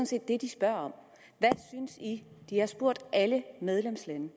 set det de spørger om de har spurgt alle medlemslande